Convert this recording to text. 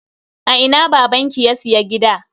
A ina babanki ya siya gida?